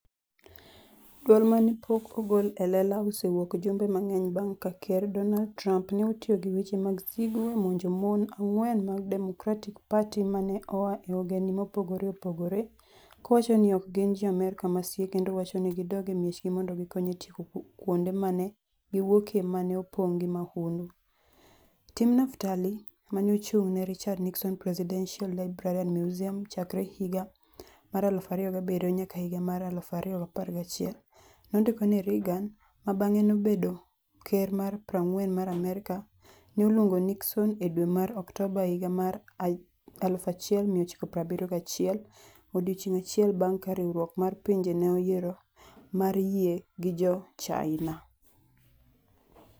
"Dwol ma ne pok ogol e lela osewuok jumbe mang'eny bang' ka Ker Donald Trump ne otiyo gi weche mag sigu e monjo mon ang'wen mag Democratic Party ma ne oa e ogendini mopogore opogore, kowacho ni ok gin Jo-Amerka masie kendo wacho ni "gidog e miechgi mondo gikony e tieko kuonde ma ne giwuokie ma ne opong' gi mahundu. Tim Naftali, ma ne ochung' ne Richard Nixon Presidential Library and Museum chakre higa mar 2007 nyaka higa mar 2011, nondiko ni Reagan - ma bang'e nobedo Ker mar 40 mar Amerka - ne oluongo Nixon e dwe mar Oktoba higa mar 1971, odiechieng' achiel bang' ka Riwruok mar Pinje ne oyiero mar yie gi Jo-China.